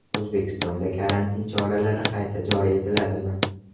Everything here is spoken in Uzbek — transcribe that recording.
O‘zbekistonda karantin choralari qayta joriy etiladimi?